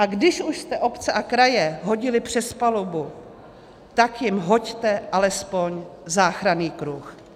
A když už jste obce a kraje hodili přes palubu, tak jim hoďte alespoň záchranný kruh.